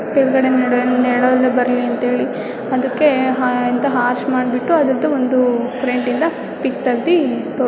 ಕೆಳಗಡೆ ನೆರಳು ನೇರಳೆಲ್ಲ ಬರಲಿ ಅಂತ ಹೇಳಿ ಅದಕ್ಕೆ ಹಾ ಆರ್ಚ್ ಮಾಡಿಬಿಟ್ಟು ಆದರದ ಫ್ರಂಟಯಿಂದ ಪಿಕ್ ತಗದಿ--